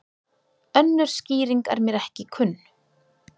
Önnur skýring er mér ekki kunn.